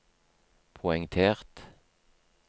poengtert